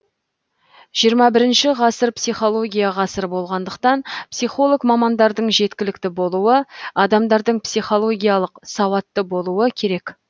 жиырма бірінші ғасыр психология ғасыры болғандықтан психолог мамандардың жеткілікті болуы адамдардың психологиялық сауатты болуы керек